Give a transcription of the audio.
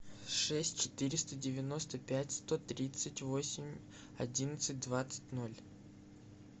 шесть четыреста девяносто пять сто тридцать восемь одиннадцать двадцать ноль